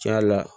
Tiɲɛ yɛrɛ la